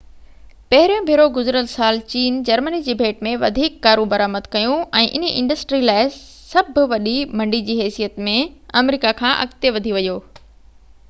پهريون ڀيرو گذريل سال چين جرمني جي ڀيٽ ۾ وڌيڪ ڪارون برآمد ڪيون ۽ اِنهي انڊسٽري لاءِ سڀ وڏي منڊي جي حيثيت ۾ آمريڪا کان اڳتي وڌي ويو